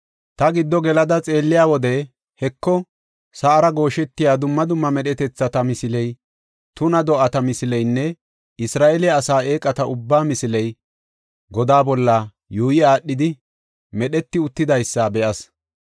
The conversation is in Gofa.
Ta giddo gelada xeelliya wode, Heko, sa7ara gooshetiya dumma dumma medhetethata misiley, tuna do7ata misileynne Isra7eele asaa eeqata ubbaa misiley godaa bolla yuuyi aadhidi medheti uttidaysa be7as.